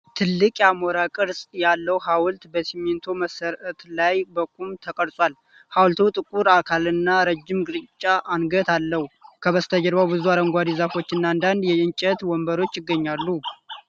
ትልቅ የአሞራ ቅርጽ ያለው ሐውልት በሲሚንቶ መሠረት ላይ በቁም ተቀርጿል። ሐውልቱ ጥቁር አካልና ረጅም ግራጫ አንገት አለው። ከበስተጀርባ ብዙ አረንጓዴ ዛፎችና አንዳንድ የእንጨት ወንበሮች ይገኛሉ።